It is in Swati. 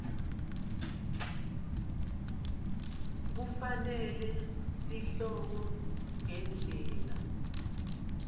kufanele sihloko ngendlela